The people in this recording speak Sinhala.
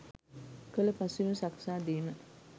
කලු පසුබිම සකසා දීම.